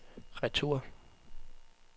retur